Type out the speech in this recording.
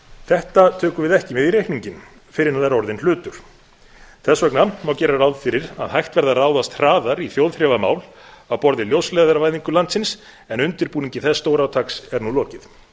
þetta tökum við ekki með í reikninginn fyrr en það er orðinn hlutur þess vegna má gera ráð fyrir að hægt verði að ráðast hraðar í þjóðþrifamál á borð við ljósleiðaravæðingu landsins en undirbúningi þess stórátaks er nú lokið